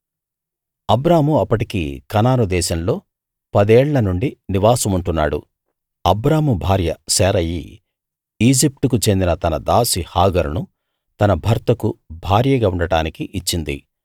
అబ్రాము అప్పటికి కనాను దేశంలో పదేళ్ల నుండి నివాసముంటున్నాడు అబ్రాము భార్య శారయి ఈజిప్టుకు చెందిన తన దాసి హాగరును తన భర్తకు భార్యగా ఉండటానికి ఇచ్చింది